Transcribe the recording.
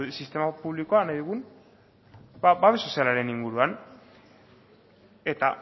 sistema publikoa nahi dugun babes sozialaren inguruan eta